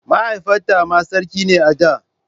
Mahaifinta ma sarki ne a da.